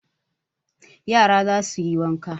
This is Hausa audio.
Yara za su yi wanka